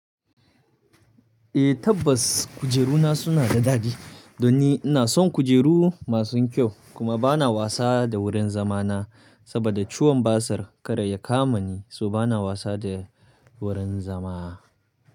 Eh tabbas kujeru na suna da dadi, don ni ina son kujeru masu kyau kuma bana wasa da wurin zama na saboda ciwon basir kada ya kama ni so bana wasa da wurin zama.